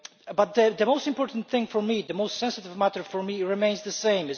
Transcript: But the most important thing for me the most sensitive matter for me remains the same.